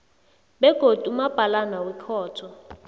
begodu umabhalana wekhotho